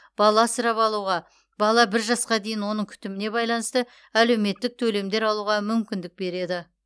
бала асырап алуға бала бір жасқа дейін оның күтіміне байланысты әлеуметтік төлемдер алуға мүмкіндік береді